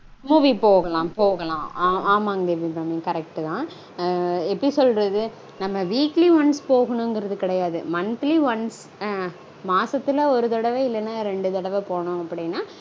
Movie போகலாம் போகலாம். ஆமாங் தேவி அபிராமி. correct -தா. எப்படி சொல்றது நம்ம weekly once போகனுங்கறது கெடையாது. Monthly once மாசத்துல ஒரு தடவ இல்லனா ரெண்டு தடவ போனோம் அப்படீனா